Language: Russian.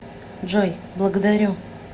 джой благодарю